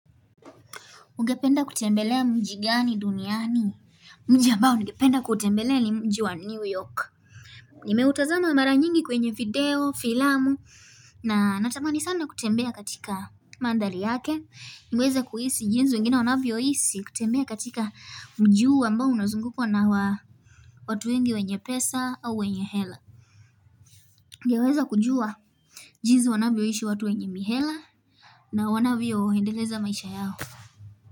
Ungependa kutembelea mji gani duniani? Mji ambao ningependa kuutembelea ni mji wa New York. Nimeutazama mara nyingi kwenye video, filamu, na natamani sana kutembea katika mandhari yake. Nimeweza kuhisi jinzi wengine wanavyohisi kutembea katika mji huu ambao unazungukwa na wa watu wengi wenye pesa au wenye hela. Ningeweza kujua jinzi wanavyoishi watu wenye mihela na wanavyoendeleza maisha yao.